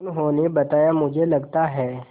उन्होंने बताया मुझे लगता है